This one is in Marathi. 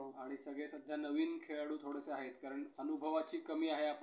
आणि सगळे सध्या नवीन खेळाडू थोडेसे आहेत. कारण अनुभवाची कमी आहे, नाही असं